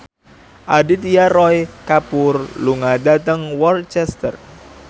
Aditya Roy Kapoor lunga dhateng Worcester